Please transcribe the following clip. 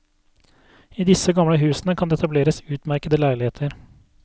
I disse gamle husene kan det etableres utmerkede leiligheter.